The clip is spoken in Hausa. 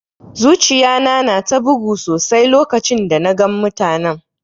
Zuciya na na ta bugu sosai lokacin da na gan mutanen.